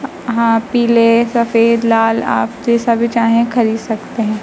हां पीले सफेद लाल आप जैसा भी चाहें खरीद सकते हैं।